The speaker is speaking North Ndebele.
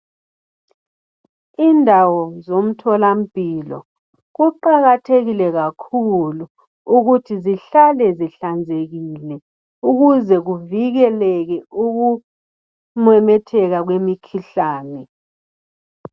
Indawo zomtholampilo kuqakathekile kakhulu ukuthi zihlale zihlanzekile ukuze kuvikeleke ukumemetheka kwemikhuhlane.